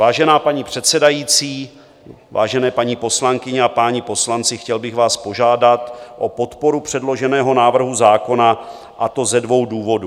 Vážená paní předsedající, vážené paní poslankyně a páni poslanci, chtěl bych vás požádat o podporu předloženého návrhu zákona, a to ze dvou důvodů.